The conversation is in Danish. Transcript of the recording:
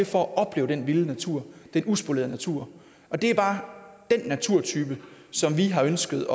for at opleve den vilde natur den uspolerede natur det er bare den naturtype som vi har ønsket